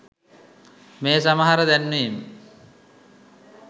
මේ සමහර දැන්වීම්